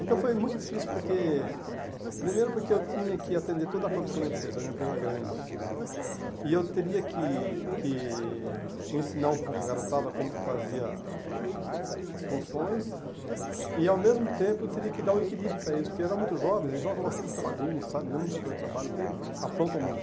Então foi muito difícil porque, primeiro porque eu tinha que atender toda a produção da empresa, era uma empresa grande né, e eu teria que que ensinar um pouco a garotada como fazia a a as funções e, ao mesmo tempo, eu teria que dar o equilíbrio para eles, porque eram muito jovens, e jovens gostam de muita bagunça, sabe, mesmo no setor de trabalho, aprontam muito.